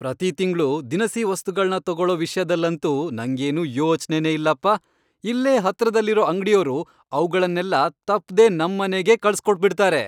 ಪ್ರತೀ ತಿಂಗ್ಳೂ ದಿನಸಿ ವಸ್ತುಗಳ್ನ ತಗೊಳೋ ವಿಷ್ಯದಲ್ಲಂತೂ ನಂಗೇನೂ ಯೋಚ್ನೆನೇ ಇಲ್ಲಪ್ಪ, ಇಲ್ಲೇ ಹತ್ರದಲ್ಲಿರೋ ಅಂಗ್ಡಿಯೋರು ಅವ್ಗಳ್ನೆಲ್ಲ ತಪ್ದೇ ನಮ್ಮನೆಗೇ ಕಳ್ಸ್ಕೊಟ್ಬಿಡ್ತಾರೆ.